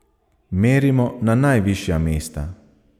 Merimo na najvišja mesta.